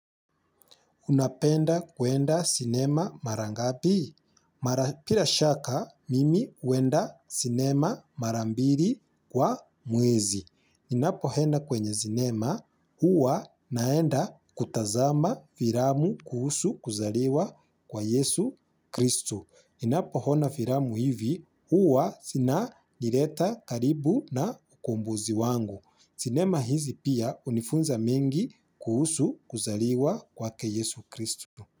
Unapenda kwenda sinema mara ngapi. Bila shaka, mimi huenda sinema mara mbali kwa mwezi. Ninapo enda kwenye sinema, huwa naenda kutazama vilamu kuhusu kuzaliwa kwa Yesu Kristu. Ninapo ona filamu hivi huwa vinanileta karibu na mkombozi wangu. Sinema hizi pia unifunza mingi kuhusu kuzaliwa kwake Yesu Kristu.